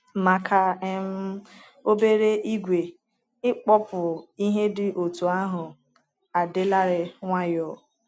Maka um obere ìgwè, ịkpọpu ihe dị otú ahụ adịlarị nwayọọ.